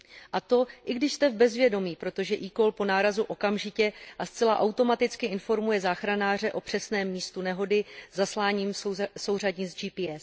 A to i když jste v bezvědomí, protože eCall po nárazu okamžitě a zcela automaticky informuje záchranáře o přesném místu nehody zasláním souřadnic GPS.